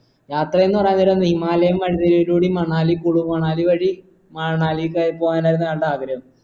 യാത്രയെന്ന് പറയാൻ നേരം himalayan country യിലൂടേം മണാലി കുണു മണാലി വഴി മണാലി പോവാനാന്നാട്ടാ ആഗ്രഹം